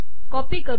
copy करू